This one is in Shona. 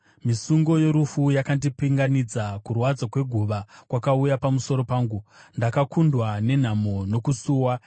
Misungo yorufu yakandipinganidza, kurwadza kweguva kwakauya pamusoro pangu; ndakakundwa nenhamo nokusuwa.